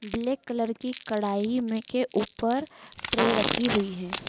Black colour की कढ़ाई में के ऊपर ट्रे रखी हुई है।